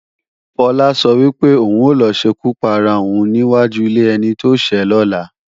Fọlá sọ wípé, òun ò lọ ṣekú para òun ní wáju ilé ẹni tóṣẹ́ lọ́la